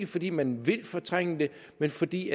fordi man vil fortrænge det men fordi